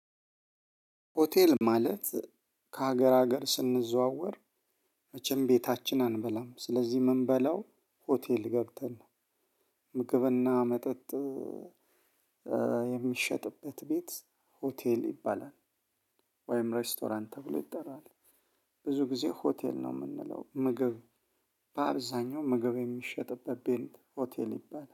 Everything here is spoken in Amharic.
ሆቴል ማለት ከሀገር ሀገር ስንዘዋወር መቼም ቤታችን አንበላም። ስለዚህ ምንበላው ሆቴል ገብተን ነው ምግብና መጠጥ የሚሸጥበት ቤት ሆቴል ይባላል፤ ወይም ሬስቶራንት ተብሎ ይጠራል። ብዙ ጊዜ ሆቴል ነው የምንለው ምግብ በአብዛኛው ምግብ የሚሸጥበት ቤት ሆቴል ይባላል።